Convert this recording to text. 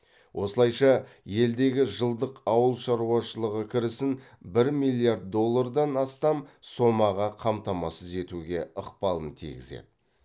осылайша елдегі жылдық ауыл шаруашылығы кірісін бір миллиард доллардан астам сомаға қамтамасыз етуге ықпалын тигізеді